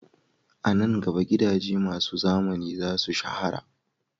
A nan gaba, gidaje masu zamani za su shahara